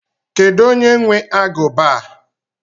Kedu onye nwe aguba a?